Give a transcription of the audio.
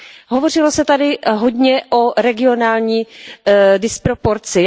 Hovořilo se zde hodně o regionální disproporci.